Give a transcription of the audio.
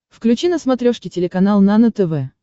включи на смотрешке телеканал нано тв